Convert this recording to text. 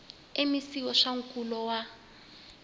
mec wa swa nkulo wa